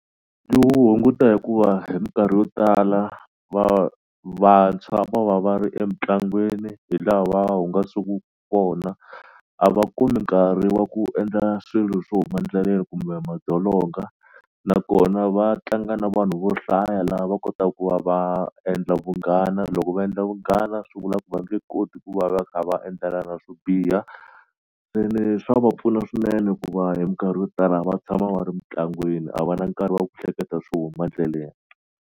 hunguta hikuva hi minkarhi yo tala vantshwa va va va ri emitlangwini hi laha hungasaku kona a va ku mi nkarhi wa ku endla swilo swo huma ndleleni kumbe madzolonga nakona va tlanga na vanhu vo hlaya laha va kotaku ku va va endla vunghana loko va endla vunghana swi vula ku va nge koti ku va va kha va endlana na swo biha se le swa va pfuna swinene hikuva hi minkarhi yo tala va tshama va ri mitlangwini a va na nkarhi wa ku hleketa swo huma ndleleni.